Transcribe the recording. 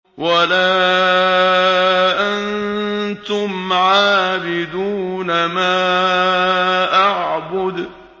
وَلَا أَنتُمْ عَابِدُونَ مَا أَعْبُدُ